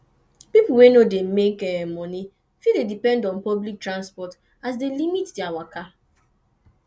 pipo wey no dey make money fit dey depend on public transport e dey limit their waka